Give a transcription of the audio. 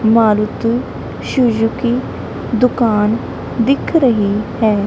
Maruti Suzuki ਦੁਕਾਨ ਦਿਖ ਰਹੀ ਹੈ।